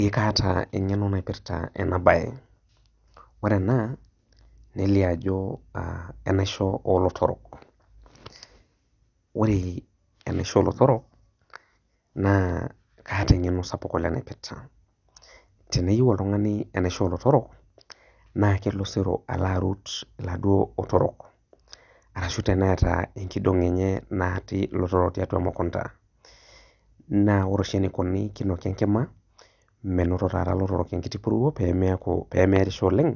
Ee kaata engeno naipirta enabae, ee ore ena na kelio ajo enaisho olotorok, ore enaisho olotorok kaata engeno naipirta, teneyieu oltungani enaisho olotorok naa kelo oserobalo arut laduo otorok, ashu teneata enkidong enye natii lotorok tiatua emukunda, ore oshi enikuni na kinoki enkima menoto ta lotorok enkitibpuruo pemearisho oleng